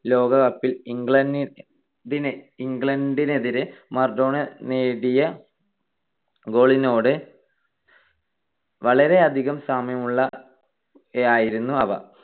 ലോകകപ്പിൽ ഇംഗ്ല ~ ഇംഗ്ലണ്ടിനെതിരെ മറഡോണ നേടിയ goal നോട് വളരെയധികം സാമ്യമുള്ളവയായിരുന്നു അവ.